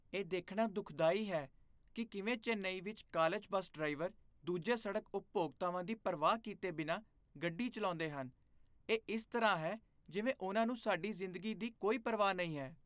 ਇਹ ਦੇਖਣਾ ਦੁਖਦਾਈ ਹੈ ਕਿ ਕਿਵੇਂ ਚੇਨੱਈ ਵਿੱਚ ਕਾਲਜ ਬੱਸ ਡਰਾਈਵਰ ਦੂਜੇ ਸੜਕ ਉਪਭੋਗਤਾਵਾਂ ਦੀ ਪਰਵਾਹ ਕੀਤੇ ਬਿਨਾਂ ਗੱਡੀ ਚਲਾਉਂਦੇ ਹਨ। ਇਹ ਇਸ ਤਰ੍ਹਾਂ ਹੈ ਜਿਵੇਂ ਉਨ੍ਹਾਂ ਨੂੰ ਸਾਡੀ ਜ਼ਿੰਦਗੀ ਦੀ ਕੋਈ ਪਰਵਾਹ ਨਹੀਂ ਹੈ।